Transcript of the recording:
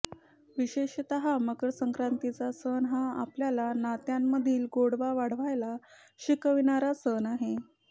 विशेषतः मकरसंक्रांतीचा सण हा आपल्याला नात्यांमधील गोडवा वाढवायला शिकविणारा सण आहे